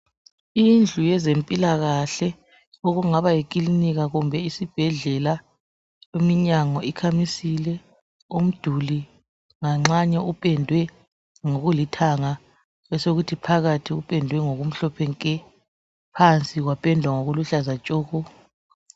Indlu yezempilakahle okungaba yikilinika kumbe isibhedlela, iminyango ikhamisile umduli nganxanye upedwe ngokulithanga besekuthi phakathi kupendwe ngokumhlophe nke besekuthi phansi upendwe ngokuluhlaza tshoko.